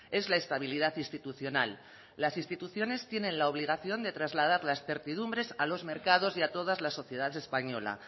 es la estabilidad institucional las instituciones tienen la obligación de trasladar las certidumbres a los mercados y a toda la sociedad española